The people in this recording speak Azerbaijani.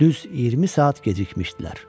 Düz 20 saat gecikmişdilər.